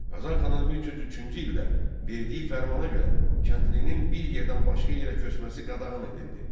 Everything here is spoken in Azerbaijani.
Qazan xanın 1303-cü ildə verdiyi fermana görə kəndlinin bir yerdən başqa yerə köçməsi qadağan edildi.